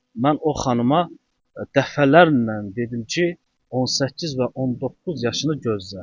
Mən o xanıma dəfələrlə dedim ki, 18 və 19 yaşını gözlə.